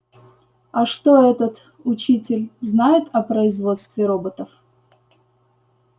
а что этот учитель знает о производстве роботов